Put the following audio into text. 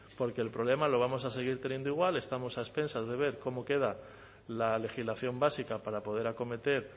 porque el problema lo vamos a seguir teniendo igual estamos a expensas de ver cómo queda la legislación básica para poder acometer